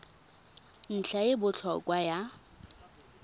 ntlha e e botlhokwa ya